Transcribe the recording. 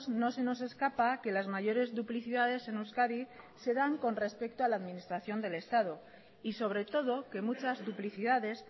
no se nos escapa que las mayores duplicidades en euskadi se dan con respecto a la administración del estado y sobre todo que muchas duplicidades